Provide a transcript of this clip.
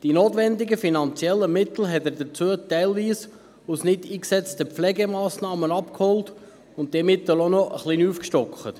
Die notwendigen finanziellen Mittel dafür hat er teilweise aus nicht eingesetzten Pflegemassnahmen abgeholt, und er hat diese Mittel auch noch ein wenig aufgestockt.